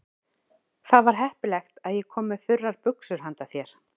Það var heppilegt að ég kom með þurrar buxur handa þér.